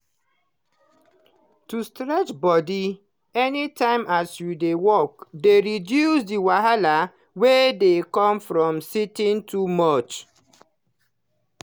to stretch body everytime as you dey work dey reduce the wahala wey dey come from sitting too much.